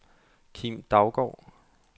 Kim Daugaard